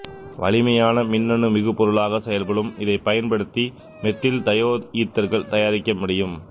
வலிமையான மின்னணு மிகுபொருளாக செயல்படும் இதைப் பயன்படுத்தி மெத்தில்தயோயீத்தர்கள் தயாரிக்க முடியும்